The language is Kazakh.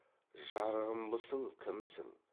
жарығымбысың кімсің